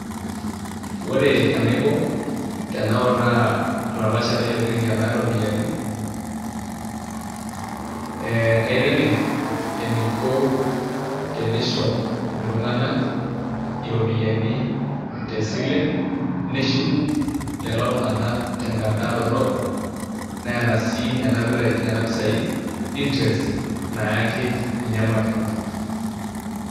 Ore enaiko tenautaa ololashe lai ogira ainyialaa iropiyiani, ee kaitengen eneiko tenisho iltunganak iropiyiani tesile neshuku lelo tunganak tenkata dorop neeta sii nena pisai interest naaki ninye makewon.